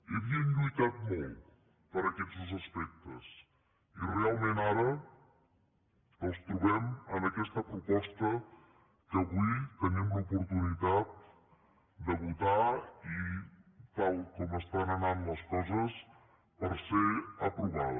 hi ha·vien lluitat molt per aquests dos aspectes i realment ara els trobem en aquesta proposta que avui tenim l’opor·tunitat de votar i tal com estan anant les coses per ser aprovada